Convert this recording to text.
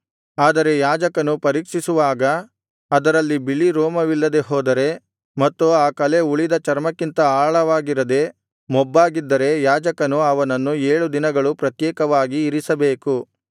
ಆದರೆ ಯಾಜಕನು ಪರೀಕ್ಷಿಸುವಾಗ ಅದರಲ್ಲಿ ಬಿಳಿ ರೋಮವಿಲ್ಲದೆ ಹೋದರೆ ಮತ್ತು ಆ ಕಲೆ ಉಳಿದ ಚರ್ಮಕ್ಕಿಂತ ಆಳವಾಗಿರದೆ ಮೊಬ್ಬಾಗಿದ್ದರೆ ಯಾಜಕನು ಅವನನ್ನು ಏಳು ದಿನಗಳು ಪ್ರತ್ಯೇಕವಾಗಿ ಇರಿಸಬೇಕು